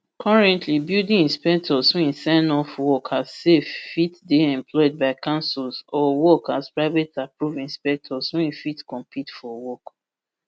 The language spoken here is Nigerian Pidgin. currently building inspectors wey sign off work as safe fit dey employed by councils or work as private approved inspectors wey fit compete for work